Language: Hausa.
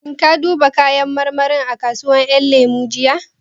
Shin ka duba kayan marmarin a kasuwar ƴan lemu jiya?